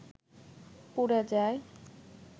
পুরে যায়